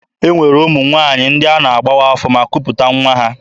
E nwere ụmụ nwaanyị ndị a na-agbawa afọ ma kuputa nwa ha.